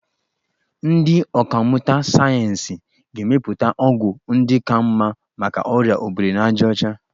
Ndị ọkàmmụta sayensị ga-emepụta ọgwụ ndị ka mma maka ọrịa obirinajaọcha.